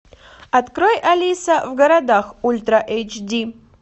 открой алиса в городах ультра эйч ди